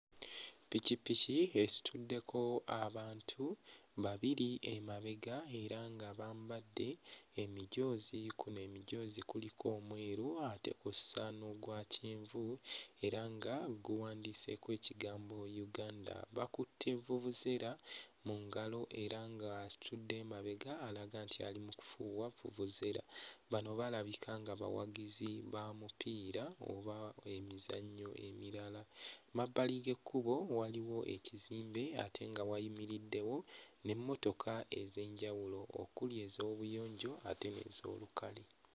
Ppikippiki esituddeko abantu babiri emabega era nga bambadde emijoozi. Kuno emijoozi kuliko omweru ate kw'ossa n'ogwa kyenvu era nga guwandiiseeko ekigambo Uganda. Bakutte vuvuzera mu ngalo era nga atudde emabega alaga nti ali mu kufuuwa vuvuzera. Bano balabika nga bawagizi ba mupiira oba emizannyo emirala. Mmabbali g'ekkubo waliwo ekizimbe ate nga wayimiriddewo n'emmotoka ez'enjawulo okuli ez'obuyonjo n'ez'olukale.